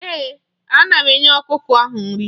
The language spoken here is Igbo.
Ee, ana m enye ọkụkọ ahụ nri.